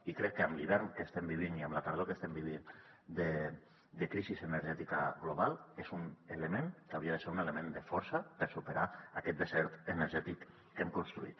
i crec que amb l’hivern que estem vivint i amb la tardor que estem vivint de crisi energètica global és un element que hauria de ser un element de força per superar aquest desert energètic que hem construït